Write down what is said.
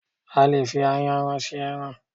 A lè fi Ayanran se ẹran.